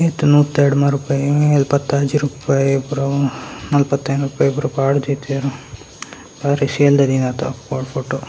ಎಲ್ಪತ್ತಾಜಿ ರುಪಾಯೆ ಪೂರ ನಲ್ಪತೈನ್‌ ರುಪಾಯೆ ಪೂರ ಪಾಡ್ದ್‌ದಿತ್ತೇರ್‌ ಬಾರಿ ಫೋಟೊ .